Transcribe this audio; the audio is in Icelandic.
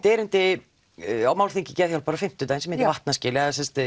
erindi á málþingi Geðhjálpar á fimmtudaginn sem heitir vatnaskil